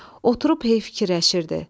Oturub hey fikirləşirdi.